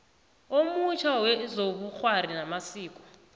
omutjha wezobukghwari namasiko